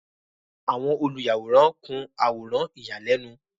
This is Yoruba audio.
Awọn oluyaworan kun aworan iyalẹnu